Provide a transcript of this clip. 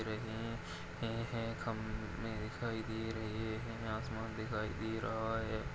रहे है यह खंबे दिखाई दे रहे है आसमान दिखाई दे रहा है।